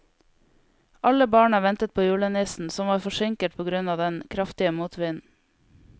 Alle barna ventet på julenissen, som var forsinket på grunn av den kraftige motvinden.